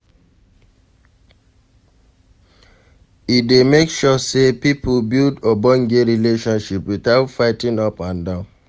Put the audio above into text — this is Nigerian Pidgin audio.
E dey make sure sey pipo build ogbonge relationship without fight up and down